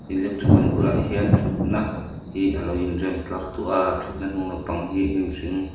electric ban bulah hian ṭhut na hi alo in rem tlar tawh a ṭhut na hnung lampang hi hnim hring--